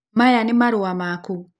maya ni marũa maku?